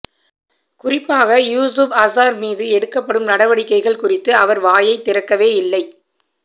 குறிப்பாக யூசுப் அசார் மீது எடுக்கப்படும் நடவடிக்கைகள் குறித்து அவர் வாயை திறக்கவே இல்லை